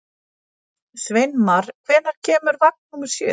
Sveinmar, hvenær kemur vagn númer sjö?